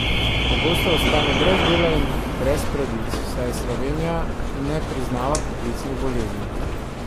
Pogosto ostane brez dela in brez pravic, saj Slovenija ne priznava poklicnih bolezni.